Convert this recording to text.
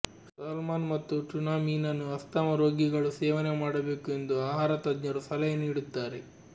salmon ಮತ್ತು tuna ಮೀನನ್ನು asthma ರೋಗಿಗಳು ಸೇವನೆ ಮಾಡಬೇಕು ಎಂದು ಆಹಾರತಜ್ಞರು ಸಲಹೆ ನೀಡುತ್ತಾರೆ